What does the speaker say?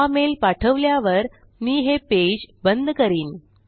हा मेल पाठवल्यावर मी हे पेज बंद करीन